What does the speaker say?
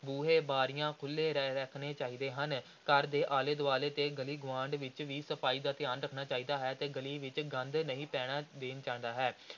ਬੂਹੇ, ਬਾਰੀਆਂ ਖੁੱਲ੍ਹੇ ਰ ਰੱਖਣੇ ਚਾਹੀਦੇ ਹਨ, ਘਰ ਦੇ ਆਲੇ ਦੁਆਲੇ ਤੇ ਗਲੀ ਗੁਆਂਢ ਵਿਚ ਵੀ ਸਫ਼ਾਈ ਦਾ ਧਿਆਨ ਰੱਖਣਾ ਚਾਹੀਦਾ ਹੈ ਤੇ ਗਲੀ ਵਿਚ ਗੰਦ ਨਹੀਂ ਪੈਣ ਦੇਣਾ ਚਾਹੀਦਾ ਹੈ।